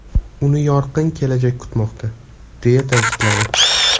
Uni yorqin kelajak kutmoqda!”, deya ta’kidladi.